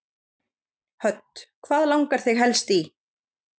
Hödd: Hvað langar þig helst í?